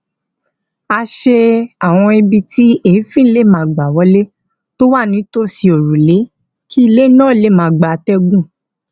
a ṣe àwọn ibi tí èéfín lè gbà wọlé tó wà nítòsí òrùlé kí ilé náà lè máa gba atégùn